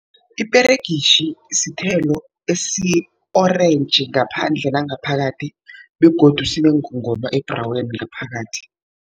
Iperegitjhi sithelo esi-orentji ngaphandle nangaphakathi begodu sinengongoma ebhraweni ngaphakathi.